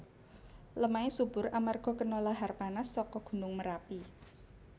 Lemahé subur amarga kena lahar panas saka gunung Merapi